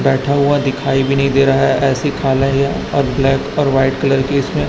बैठा हुआ दिखाई भी नही दे रहा है ऐसी खाला या और ब्लैक और व्हाईट कलर की इसमें--